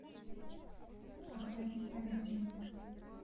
оксане олеговне